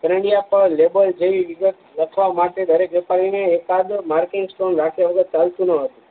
પર લેબલ જેવી વિગત લખવા માટે દરેક વ્યાપારી ને એક આધ માર્કિંગ સ્ટોન રાખ્યો હતો પાલતું ન હતું